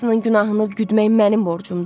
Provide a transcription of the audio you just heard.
Hamısının günahını güdmək mənim borcumdur?